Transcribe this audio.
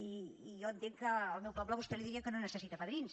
i jo entenc que al meu poble a vostè li dirien que no necessita padrins